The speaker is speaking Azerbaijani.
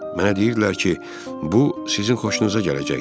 Mənə deyirdilər ki, bu sizin xoşunuza gələcəkdi.